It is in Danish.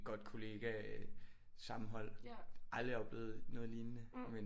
Godt kollegasammenhold aldrig oplevet noget lignende men